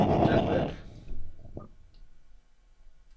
netværk